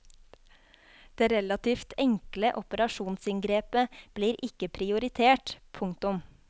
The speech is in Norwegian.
Det relativt enkle operasjonsinngrepet blir ikke prioritert. punktum